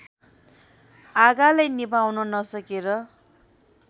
आगालाई निभाउन नसकेर